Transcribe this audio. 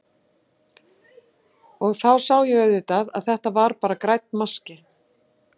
Og þá sá ég auðvitað að þetta var bara grænn maski.